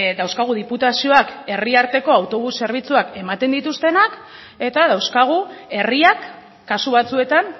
dauzkagu diputazioak herri arteko autobus zerbitzuak ematen dituztenak eta dauzkagu herriak kasu batzuetan